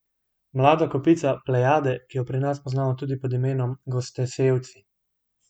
Mlada kopica Plejade, ki jo pri nas poznamo tudi pod imenom Gostosevci.